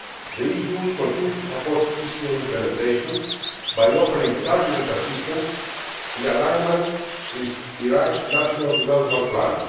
The EU will continue to support PCA implementation by offering targeted assistance in alignment with Iraq's National Development Plan.